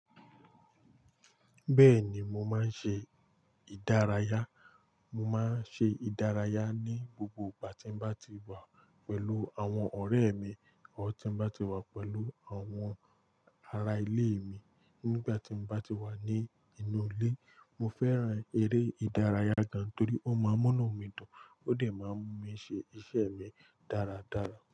Bẹ́ẹ̀ni mo máa ń ṣe ìdárayá, mo máa ń ṣe ìdárayá ní gbogbo ìgbà tí n bá ti wà pẹ̀lú àwọn ọ̀rẹ́ mi, or tí n bá ti wà pẹ̀lú àwọn ará ilé mi. Nígbà tí n bá ti wà ní inú ilé, mo fẹ́ràn eré ìdárayá gan torí ó máa ń múnú mi dún, ó sì máa ń mú mi ṣe iṣẹ́ mi dáradára.